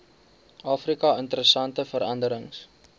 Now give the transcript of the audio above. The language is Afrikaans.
afrika interessante veranderings